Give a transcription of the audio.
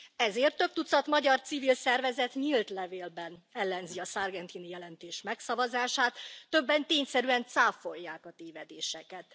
Ezért több tucat magyar civil szervezet nyílt levélben ellenzi a Sargentini jelentés megszavazását, többen tényszerűen cáfolják a tévedéseket.